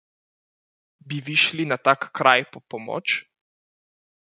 Bi vi šli na tak kraj po pomoč?